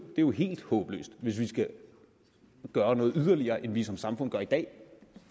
jo helt håbløst hvis vi skal gøre noget yderligere end vi som samfund gør i dag